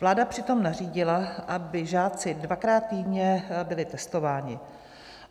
Vláda přitom nařídila, aby žáci dvakrát týdně byli testováni.